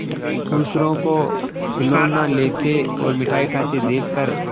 दूसरों को खिलौना लेते और मिठाई खाते देखकर